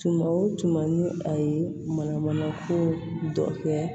Tuma o tuma ni a ye mana mana ko dɔ kɛ